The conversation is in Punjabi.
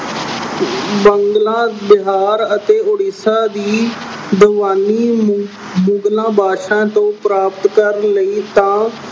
ਬੰਗਲਾ, ਬਿਹਾਰ ਅਤੇ ਉੜੀਸਾ ਦੀ ਮੁਗਲਾਂ ਅਹ ਬਾਦਸ਼ਾਹਾਂ ਤੋਂ ਪ੍ਰਾਪਤ ਕਰਨ ਲਈ ਤਾਂ